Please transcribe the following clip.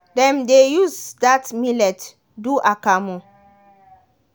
dem dey use that millet do akamu.